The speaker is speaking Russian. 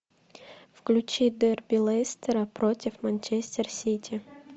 включи дерби лестера против манчестер сити